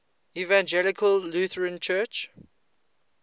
evangelical lutheran church